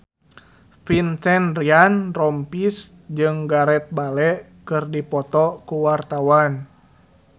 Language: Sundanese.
Vincent Ryan Rompies jeung Gareth Bale keur dipoto ku wartawan